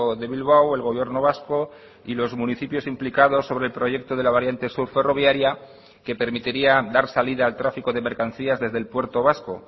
de bilbao el gobierno vasco y los municipios implicados sobre el proyecto de la variante sur ferroviaria que permitiría dar salida al tráfico de mercancías desde el puerto vasco